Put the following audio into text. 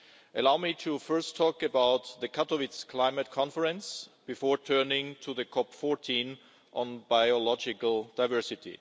Allow me to first talk about the Katowice climate conference, before turning to the COP14 on Biological Diversity.